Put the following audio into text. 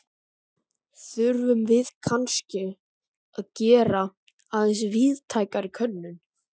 Þurfum við kannske að gera aðeins víðtækari könnun?